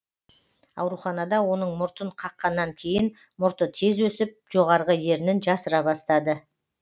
ауруханада оның мұртын қаққаннан кейін мұрты тез өсіп жоғарғы ернін жасыра бастады